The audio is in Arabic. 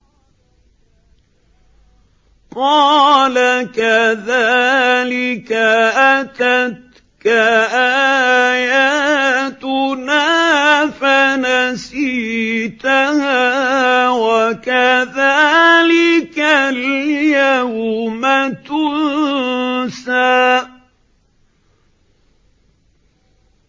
قَالَ كَذَٰلِكَ أَتَتْكَ آيَاتُنَا فَنَسِيتَهَا ۖ وَكَذَٰلِكَ الْيَوْمَ تُنسَىٰ